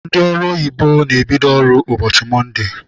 Ndị ọrụ oyibo na-ebido ọrụ ụbọchị mọnde.